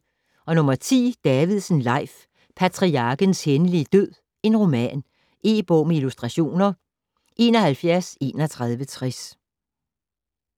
Davidsen, Leif: Patriarkens hændelige død: roman E-bog med illustrationer 713160